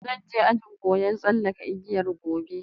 Zanje ajin koyar tsalake igiya Gobe.